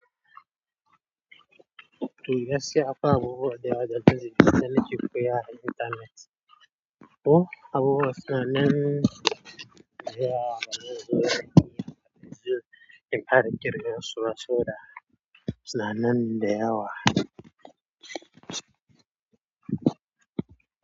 Eh gaskiya fa akwai abubuwa da yawa da ke, dana ke koya a internet. Oh abubuwa suna nan da yawa, mana zo za ki iya ka ji, in fara kirga suba saboda, suna nan da yawa.